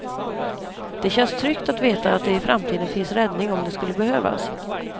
Det känns tryggt att veta att det i framtiden finns räddning om det skulle behövas.